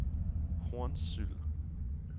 Hornsyld